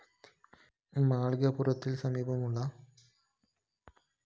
മാളികപ്പുറത്തിന്‌ സമീപമുള്ള പുഷ്ക്കരണീ തീര്‍ത്ഥം സ്ലാബിട്ട്‌ അടച്ച നിലയിലാണ്‌